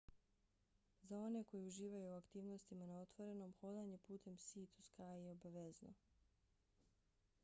za one koji uživaju u aktivnostima na otvorenom hodanje putem sea-to-sky je obavezno